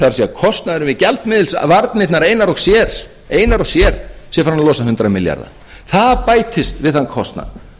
er kostnaðurinn við gjaldmiðilsvarnirnar einar og sér sé farinn að losa hundrað milljarða það bætist við þann kostnað